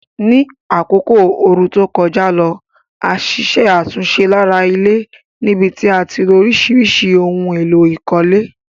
Ní àkókò ooru to kojá lo, a ṣiṣẹ́ àtúnse lára ilé níbití a tilo orísìrísì oun élò ìkólé